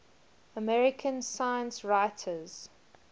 american science writers